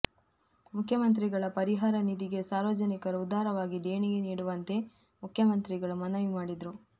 ಮುಖ್ಯಮಂತ್ರಿಗಳ ಪರಿಹಾರ ನಿಧಿಗೆ ಸಾರ್ವಜನಿಕರು ಉದಾರವಾಗಿ ದೇಣಿಗೆ ನೀಡುವಂತೆ ಮುಖ್ಯಮಂತ್ರಿಗಳು ಮನವಿ ಮಾಡಿದರು